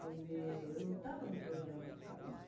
Quer dizer, eu não estava no programa ficar lá.